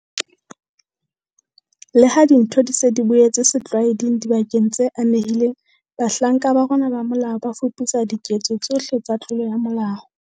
Leha dintho di se di boetse setlwaeding dibakeng tse amehileng, bahlanka ba rona ba molao ba fuputsa diketso tsohle tsa tlolo ya molao.